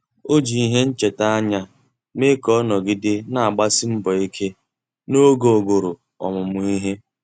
Ọ́ jì ìhè nchètà ányá mee ka ọ́ nọ́gídè nà-àgbàsí mbọ̀ ike n’ógè ogòrò ọmụ́mụ́ ìhè.